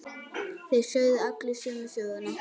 Þeir sögðu allir sömu söguna.